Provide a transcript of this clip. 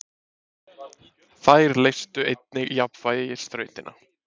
Þær leystu einnig jafnvægisþrautina.